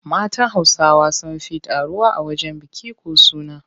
Matan Hausawa sun fi taruwa a wajen biki ko suna.